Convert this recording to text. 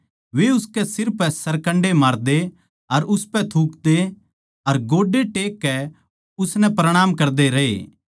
वे उसकै सिर पै सरकण्डे मारदे अर उसपै थूकदे अर गोड्डे टेक कै उसनै प्रणाम करदे रहे